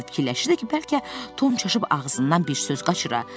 Fikirləşirdi ki, bəlkə Tom çaşıb ağzından bir söz qaçıra.